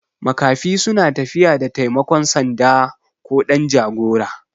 Makafi suna tafiya da taimakon sanda ko ɗan jagora